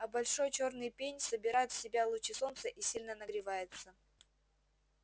а большой чёрный пень собирает в себя лучи солнца и сильно нагревается